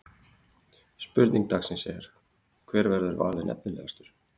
Spurning dagsins er: Hver verður valinn efnilegastur?